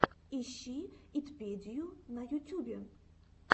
ищи итпедию на ютюбе